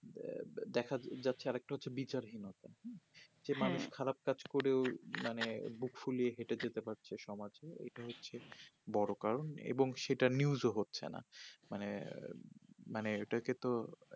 দেখাযাচ্ছে আরাকে টা হচ্ছে বিচারহীনতা যে মানুষ খারাপ কাজ করেও মানে বুক ফুলিয়ে যেতে পারছে সমাজে এইটা হচ্ছে বড়ো কারণ এইটা news ও হচ্ছে না মানে মানে এইটাকে তো